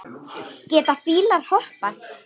Geta fílar hoppað?